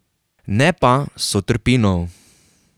Ne pa sotrpinov.